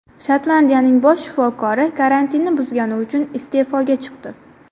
Shotlandiyaning bosh shifokori karantinni buzgani uchun iste’foga chiqdi.